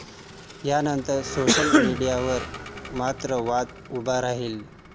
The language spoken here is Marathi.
यानंतर सोशल मीडियावर मात्र वाद उभा राहिला.